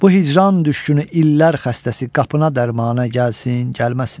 Bu hicran düşgünü illər xəstəsi qapına dərmanə gəlsin, gəlməsin.